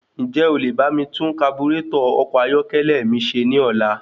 Ǹjẹ́ o lè bá mi tún kaburétọ̀ ọkọ̀ ayọ́kẹ́lẹ́ mi ṣe ní ọ̀la?